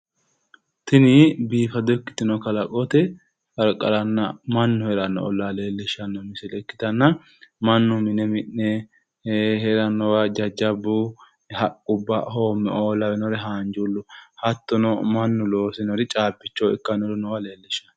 Tini biifado ikkitino kalaqote qarqaranna mannu heeranno ollaa leellishshanno misile ikkitanna mannu mine mi'ne heerannowa jajjabbu haqqubba, hoommeoo lawinore haanjuullu hattono mannu loosinori caabbichoho ikkannore leellishshanno.